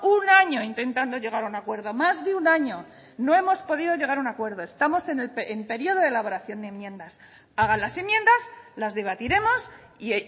un año intentando llegar a un acuerdo más de un año no hemos podido llegar a un acuerdo estamos en el periodo de elaboración de enmiendas hagan las enmiendas las debatiremos y